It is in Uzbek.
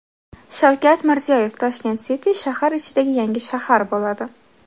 Shavkat Mirziyoyev: Tashkent City shahar ichidagi yangi shahar bo‘ladi.